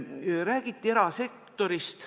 Räägiti erasektorist.